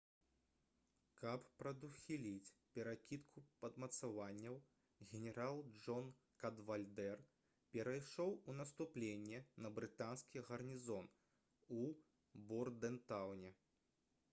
каб прадухіліць перакідку падмацаванняў генерал джон кадвальдэр перайшоў у наступленне на брытанскі гарнізон у бордэнтаўне